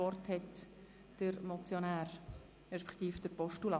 Wir führen eine freie Debatte.